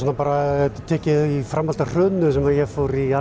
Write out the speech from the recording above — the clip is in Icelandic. bara tekið í framhaldi af hruninu sem ég fór í